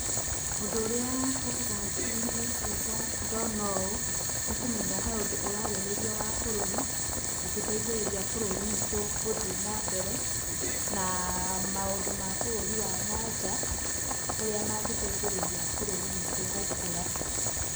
Ũndũ urĩa ũkaga hakiri-inĩ ciakwa ndona ũũ, nĩ kũmenya he ũndũ ũrarĩrĩrio wa bũrũri, ũngĩteithĩrĩria bũrũri witũ gũthiĩ na mbere. Na maũndũ ma bũrũri wa nanja ũrĩa mangĩteithĩrĩria bũrũri witũ gũkũra.